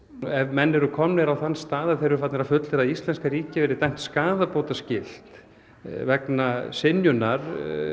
ef menn eru komnir á þann stað að þeir eru farnir að fullyrða að íslenska ríkið gæti verið dæmt skaðabótaskylt vegna synjunar